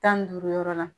Tan ni duuru yɔrɔ la